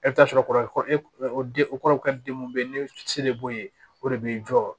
E bɛ taa sɔrɔ o de o kɔrɔ den mun be yen ni se de b'o ye o de b'i jɔ